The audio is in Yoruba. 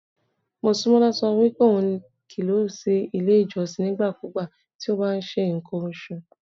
Mosúnmọ́lá sọ wípé ohun kì í lọ sí ilé ìjọsìn nígbàkúùgbà tí ó bá ń ṣe ǹkan oṣù.